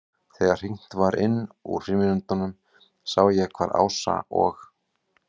Þegar hringt var inn úr frímínútunum sá ég hvar Ása og